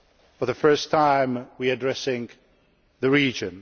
For the first time now, we are addressing the region.